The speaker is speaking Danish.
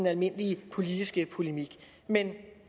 almindelige politiske polemik men